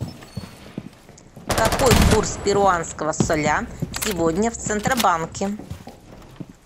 какой курс перуанского соля сегодня в центробанке